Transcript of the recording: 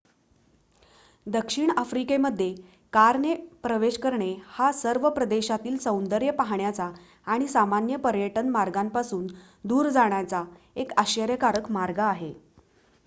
दक्षिण आफ्रिकेमध्ये कारने प्रवेश करणे हा सर्व प्रदेशातील सौंदर्य पाहण्याचा आणि सामान्य पर्यटन मार्गांपासून दूर जाण्याचा एक आश्चर्यकारक मार्ग आहे